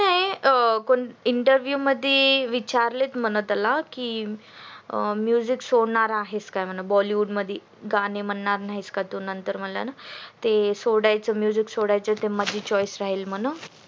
ए कोणते interview मध्ये विचारले म्हणतात त्याला की music सोडणार आहेस काय बॉलीवुड मध्ये गाणे म्हणणार नाहीस का तू नंतर म्हणला न ते music सोडायचे मधी choice राहील म्हणून